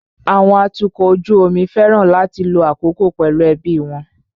Àwọn atukọ̀ ojú omi fẹ́ràn láti lo àkókò pẹ̀lú àwọn ẹbí wọn.